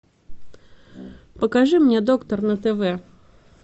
покажи мне доктор на тв